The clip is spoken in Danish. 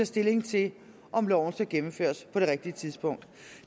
stilling til om loven skal gennemføres på det rigtige tidspunkt